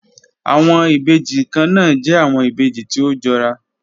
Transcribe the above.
Awọn ibeji kanna jẹ awọn ibeji ti o jọra